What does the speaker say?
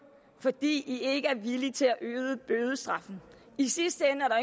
fordi i ikke er villige til at øge bødestraffen i sidste ende er